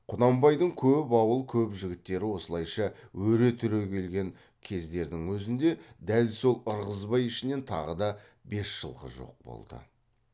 құнанбайдың көп ауыл көп жігіттері осылайша өре түрегелген кездердің өзінде дәл сол ырғызбай ішінен тағы да бес жылқы жоқ болды